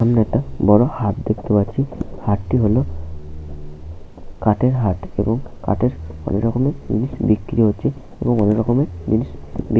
সামনে একটা বড় একটা হাট দেখতে পাচ্ছি। হাটটি হলো কাঠের হাট। এবং কাঠের অনেক রকমের জিনিস বিক্রি হচ্ছে। এবং অনেক রকমের জিনিস বি--